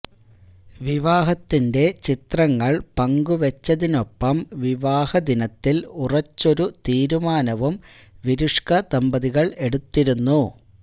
വിവാഹത്തിന്റെ ചിത്രങ്ങൾ പങ്കുവച്ചതിനൊപ്പം വിവാഹദിനത്തിൽ ഉറച്ചൊരു തീരുമാനവും വിരുഷ്ക ദമ്പതികൾ എടുത്തിരുന്നു